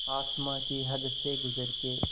आसमां की हद से गुज़र के